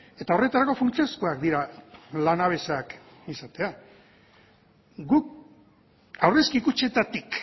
eta horretarako funtsezkoak dira lanabesak izatea guk aurrezki kutxetatik